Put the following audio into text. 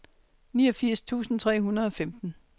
niogfirs tusind tre hundrede og femten